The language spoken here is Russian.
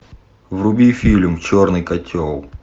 вруби фильм черный котел